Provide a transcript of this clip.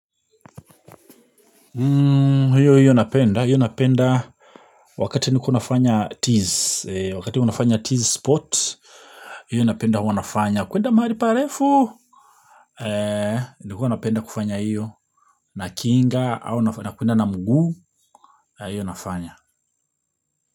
Hiyo hiyo napenda, hiyo napenda wakati nilikuwa nafanya tease, wakati huwa nafanya tease spot, hiyo napenda huwa nafanya kwenda mahali parefu, nilikuwanapenda kufanya hiyo, na kinga, au napenda kwenda na mguu, hiyo nafanya.